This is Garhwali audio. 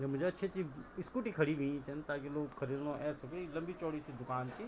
यम्मू ज अच्छी अच्छी इस्कूटी खड़ी हुयि छन ताकि लोग ख़रिदणु ए सबी लंबी चौड़ी सी दुकान च।